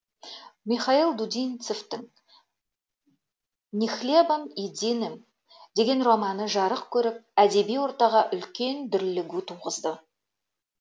михаил дудинцевтің ни хлебом единым деген романы жарық көріп әдеби ортаға үлкен дүрлігу туғызды